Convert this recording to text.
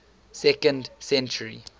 second century